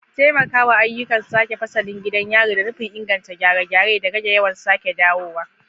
Taimakawa ayyukan sake fasalin gidan yari da nufin inganta gyare-gyare da rage yawan sake dawowa.